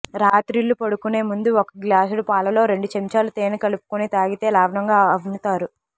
రాత్రిళ్లు పడుకొనేముందు ఒక గ్లాసుడు పాలలో రెండుచెంచాలు తేనె కలుపుకుని తాగితే లావ్ఞగా అవ్ఞతారు